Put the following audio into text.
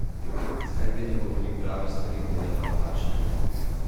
Zakaj vedno govori prave stvari, dela pa napačne?